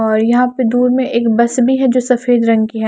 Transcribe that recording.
और यहां पे दूर में एक बस भी है जो सफेद रंग की है।